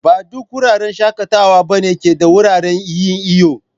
Ba duk wuraren shakatawa ba ne ke da wuraren yin'iyo.